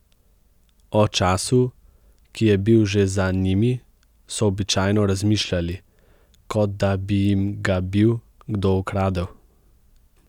O času, ki je bil že za njimi, so običajno razmišljali, kot da bi jim ga bil kdo ukradel.